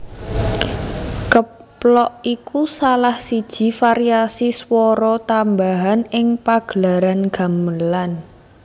Keplok iku salah siji variasi swara tambahan ing pagelaran gamelan